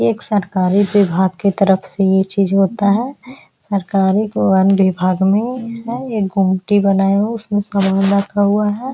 एक सरकारी विभाग की तरफ से यह चीज होता है सरकारी वन विभाग में ये गुमटी बनाया हुआ है उसमें रखा हुआ है।